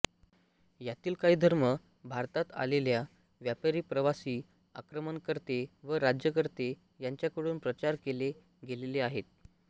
यातील काही धर्म भारतात आलेल्या व्यापारी प्रवासी आक्रमणकर्ते व राज्यकर्ते यांच्याकडून प्रचार केले गेलेले आहेत